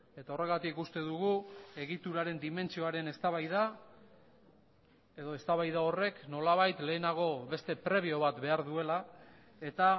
eta horregatik uste dugu egituraren dimentsioaren eztabaida edo eztabaida horrek nolabait lehenago beste prebio bat behar duela eta